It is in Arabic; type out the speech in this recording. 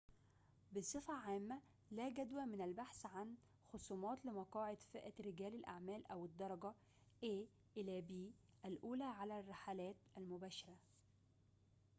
بصفة عامة لا جدوى من البحث عن خصومات لمقاعد فئة رجال الأعمال أو الدرجة الأولى على الرحلات المباشرة من a إلى b